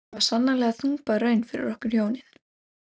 Þetta var sannarlega þungbær raun fyrir okkur hjónin.